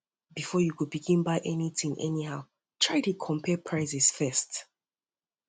bifor yu begin buy anytin anyhow try dey compare prices first